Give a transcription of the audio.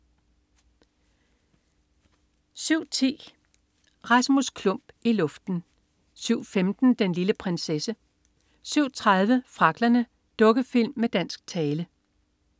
07.10 Rasmus Klump i luften 07.15 Den lille prinsesse 07.30 Fragglerne. Dukkefilm med dansk tale